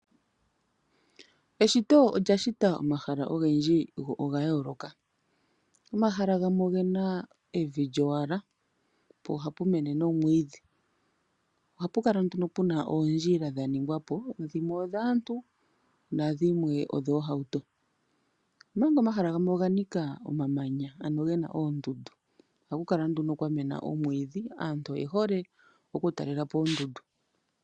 Eshito olya shita omahala ogendji go oga yooloka. Omahala gamwe oge na evi lyowala, po ohapu mene nomwiidhi. Ohapu kala nduno pu na oondjila dha ningwa po, dhimwe odhaantu nadhimwe odhoohauto. Omahala gamwe oga nika omamanaya ano ge na oondundu. Ohaku kala nduno kwa mena oomwiidhi. Aantu oye hole okutalela po oondundu.